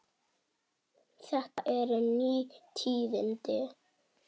Þetta eru ný tíðindi.